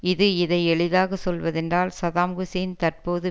இது இதை எளிதாக சொல்வதென்றால் சதாம் ஹுசேன் தற்போது